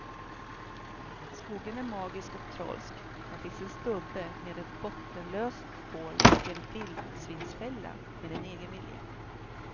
Skogen är magisk och trolsk, här finns en stubbe med ett bottenlöst hål och en vildsvinsfälla med en egen vilja.